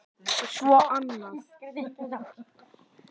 Svo annað.